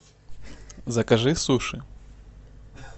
закажи суши